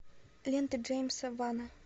лента джеймса вана